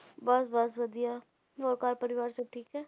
ਬਸ ਬਸ ਵਧੀਆ ਹੋਰ ਘਰ ਪਰਿਵਾਰ ਸਭ ਠੀਕ ਹੈ